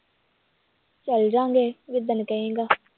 ਚੱਲ ਜਾਵਾਂਗੇ ਜਿੱਦਣ ਕਹੇਂਗਾ